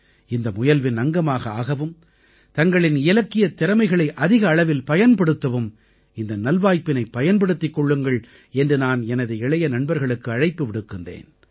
இந்த முயல்வின் அங்கமாக ஆகவும் தங்களின் இலக்கியத் திறமைகளை அதிக அளவில் பயன்படுத்தவும் இந்த நல்வாய்ப்பினைப் பயன்படுத்திக் கொள்ளுங்கள் என்று நான் எனது இளைய நண்பர்களுக்கு அழைப்பு விடுக்கிறேன்